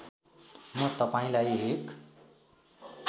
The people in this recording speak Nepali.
म तपाईँलाई एक